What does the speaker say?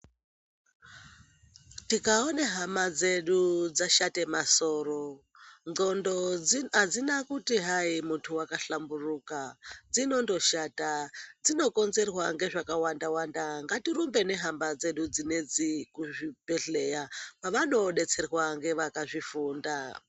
Tikaone hama dzedu dzadhate masoro ndxondo dzino adzina kuti hai muntu wakahlamburuka dzinonfodhata dzinokonzerwa ngezvekawanda wanda ngatirumbe nehama dzedu dzinedzi kuzvibhedhleya kwavanondodetserwa ngevakazvifunda.